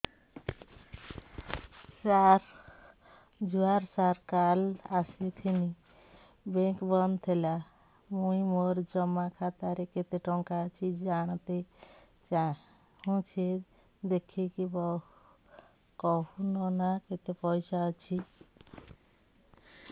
ସାର ଜୁହାର ସାର କାଲ ଆସିଥିନି ବେଙ୍କ ବନ୍ଦ ଥିଲା ମୁଇଁ ମୋର ଜମା ଖାତାରେ କେତେ ଟଙ୍କା ଅଛି ଜାଣତେ ଚାହୁଁଛେ ଦେଖିକି କହୁନ ନା କେତ ପଇସା ଅଛି